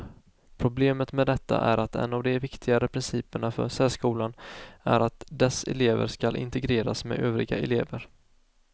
Problemet med detta är att en av de viktigare principerna för särskolan är att dess elever skall integreras med övriga elever.